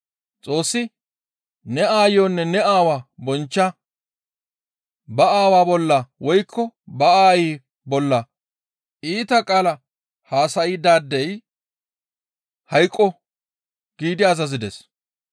Xoossi, ‹Ne aayonne ne aawaa bonchcha; ba aawa bolla woykko ba aayi bolla iita qaala haasaydaadey hayqqo!› gi azazides.